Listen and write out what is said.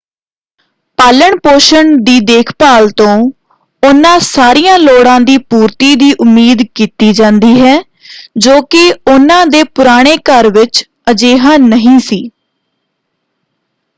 ਪਾਲਣ-ਪੋਸ਼ਣ ਦੀ ਦੇਖਭਾਲ ਤੋਂ ਉਹਨਾਂ ਸਾਰੀਆਂ ਲੋੜਾਂ ਦੀ ਪੂਰਤੀ ਦੀ ਉਮੀਦ ਕੀਤੀ ਜਾਂਦੀ ਹੈ ਜੋ ਕਿ ਉਹਨਾਂ ਦੇ ਪੁਰਾਣੇ ਘਰ ਵਿੱਚ ਅਜਿਹਾ ਨਹੀਂ ਸੀ।